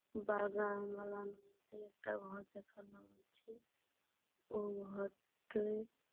বাগান বাগানের মধ্যে একটা ঘর দেখানো হয়েছে। ও ঘরটোয়--